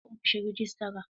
Zan je ofishin rajistra.